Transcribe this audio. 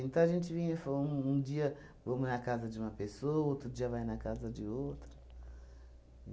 Então a gente vinha e fo um um dia vamos na casa de uma pessoa, outro dia vai na casa de outra.